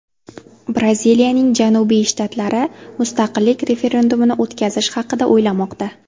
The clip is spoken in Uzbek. Braziliyaning janubiy shtatlari mustaqillik referendumini o‘tkazish haqida o‘ylamoqda.